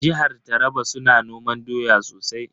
Jihar Taraba su na noman doya sosai.